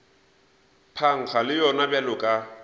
phankga le yona bjalo ka